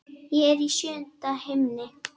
Ég er í sjöunda himni.